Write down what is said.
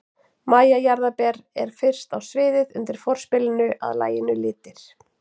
MÆJA JARÐARBER er fyrst á sviðið undir forspilinu að laginu Litir.